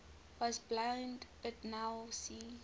was blind but now see